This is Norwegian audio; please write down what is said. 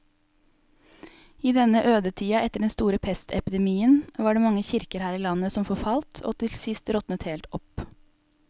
I denne ødetida etter den store pestepidemien var det mange kirker her i landet som forfalt og til sist råtnet helt opp.